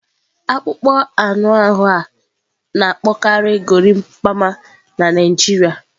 Akpụkpọ anụ ahu a na-akpọkarị gorimapa na Naịjirịa.